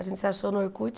A gente se achou no Orkut.